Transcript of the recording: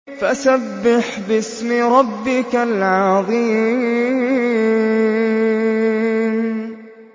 فَسَبِّحْ بِاسْمِ رَبِّكَ الْعَظِيمِ